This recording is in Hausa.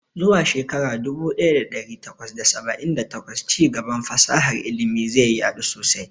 Zuwa shekara dubu ɗaya da ɗari takwas da saba'in da takwas, ci gaban fasahar ilimi zai yadu sosai.